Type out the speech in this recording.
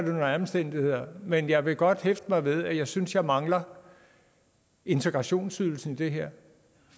omstændigheder men jeg vil godt hæfte mig ved at jeg synes jeg mangler integrationsydelsen i det her